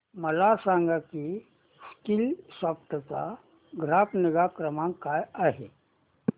मला सांग की स्कीलसॉफ्ट चा ग्राहक निगा क्रमांक काय आहे